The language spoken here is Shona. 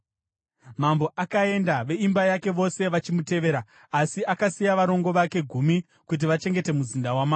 Mambo akaenda, veimba yake vose vachimutevera; asi akasiya varongo vake gumi kuti vachengete muzinda wamambo.